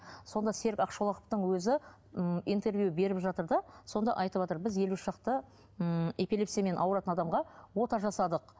сонда серік ақшолақовтың өзі м интервью беріп жатыр да сонда айтыватыр біз елу шақты ммм эпилепсиямен ауыратын адамға ота жасадық